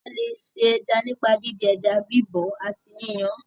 A lè se ẹja nípa díndín ẹja, bíbọ̀ ọ́ àti yínyan án.